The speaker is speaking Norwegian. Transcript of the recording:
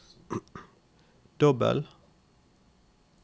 dobbel